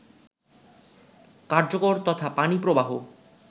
কার্যকর তথা পানি প্রবাহ